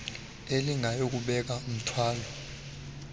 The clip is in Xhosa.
elingayi kubeka mthwalo